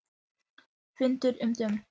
Fundur um dóm